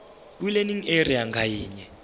kwilearning area ngayinye